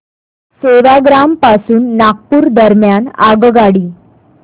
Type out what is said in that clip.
सेवाग्राम पासून नागपूर दरम्यान आगगाडी